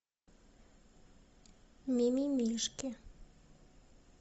мимимишки